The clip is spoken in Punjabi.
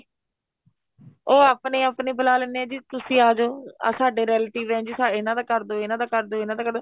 ਉਹ ਆਪਣੇ ਆਪਣੇ ਬੁਲਾ ਲੈਨੇ ਏ ਜੀ ਤੁਸੀਂ ਆਜੋ ਸਾਡੇ relative ਏ ਜੀ ਇਹਨਾ ਦਾ ਕਰਦੋ ਇਹਨਾ ਦਾ ਕਰਦੋ ਇਹਨਾ ਦਾ ਕਰਦੋ